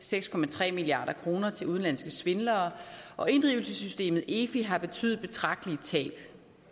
seks milliard kroner til udenlandske svindlere og inddrivelsessystemet efi har betydet betragtelige tab